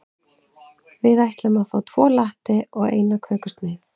Við ætlum að fá tvo latte og eina kökusneið.